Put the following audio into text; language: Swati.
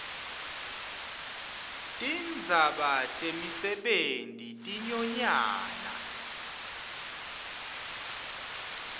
tindzaba temisebenti tinyonyana